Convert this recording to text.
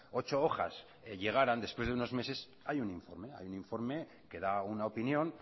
ocho hojas llegaran después de unos meses hay un informe hay un informe que da una opinión